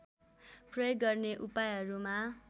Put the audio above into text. प्रयोग गर्ने उपायहरूमा